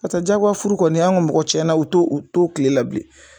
Ka taa diyago furu kɔni an ka mɔgɔ tiɲɛna o t'o o t'o tile la bilen.